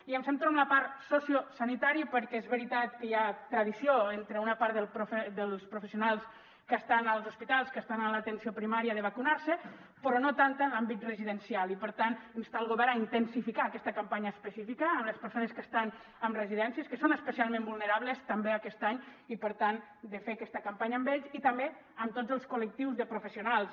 i em centro en la part sociosanitària perquè és veritat que hi ha tradició entre una part dels professionals que estan als hospitals que estan en l’atenció primària de vacunar se però no tanta en l’àmbit residencial i per tant instar el govern a intensificar aquesta campanya específica amb les persones que estan en residències que són especialment vulnerables també aquest any i per tant de fer aquesta campanya amb ells i també amb tots els col·lectius de professionals